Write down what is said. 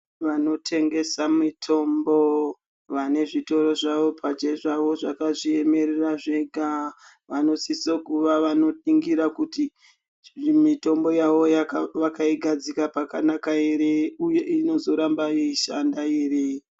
Vanotengesa mitombo, vanezvitoro zvavo pachezvavo zvakazviyemerera zvega, vanosisa kuva vanopingira kuti mitombo yavo vakayigadzika pakanaka here, uye inozoramba eyishanda here.